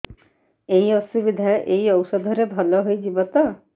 ଏଇ ଅସୁବିଧା ଏଇ ଔଷଧ ରେ ଭଲ ହେଇଯିବ ତ